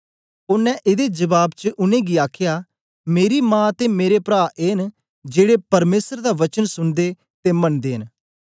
ओनें एदे जबाब च उनेंगी आखया मेरी मा ते मेरे प्रा ए न जेड़े परमेसर दा वचन सुनदे ते मनदे न